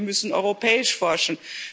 Das heißt, wir müssen europäisch forschen.